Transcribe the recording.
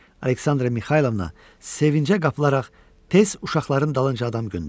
Aleksandra Mixaylovna sevincə qapılaraq tez uşaqların dalınca adam göndərdi.